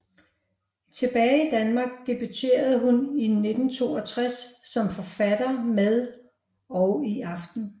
Tilbage i Danmark debuterede hun i 1962 som forfatter med Og i aften